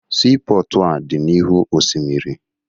Siipọọtụ a dị n'ihu osimiri